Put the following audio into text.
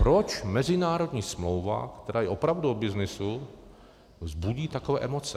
Proč mezinárodní smlouva, která je opravdu o byznysu, vzbudí takové emoce?